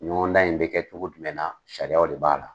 Ɲɔgɔndan in bɛ kɛ cogo jumɛn na, sariyaw de b'a la.